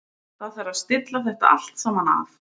Það þarf að stilla þetta allt saman af.